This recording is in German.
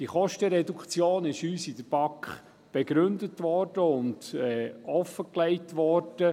Diese Kostenreduktion wurde in der BaK offengelegt und begründet.